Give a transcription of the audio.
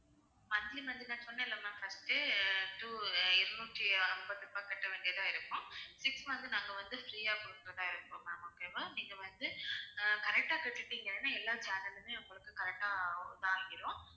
monthly monthly நான் சொன்னேன்ல ma'am first two இருநூற்று ஐம்பது ரூபாய் கட்ட வேண்டியதா இருக்கும் dish வந்து நாங்க வந்து free யா குடுக்குறதா இருக்கோம் ma'am okay வா நீங்க வந்து ஆஹ் correct ஆ கட்டிட்டீங்கன்னா எல்லா channel லுமே உங்களுக்கு correct ஆ இதாகிரும்